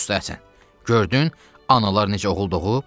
Usta Həsən, gördün analar necə oğul doğub?